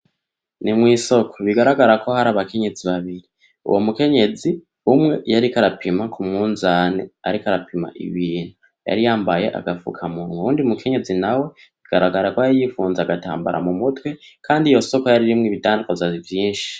Ni mw'isoko bigaragara ko harimwo abakenyezi babiri. Uwo mukenyezi umwe yariko arapima ku munzane ariko arapima ibintu. Yari yambaye agafukamunwa. Uwundi mukenyezi bigaragara ko yari yipfunze agatambara mu mutwe kandi iyo soko yari irimwo ibidandazwa vyinshi.